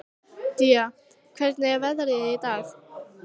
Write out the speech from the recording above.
Día, hvernig er veðrið í dag?